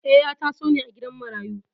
Eh, ya taso ne a gidan marayu.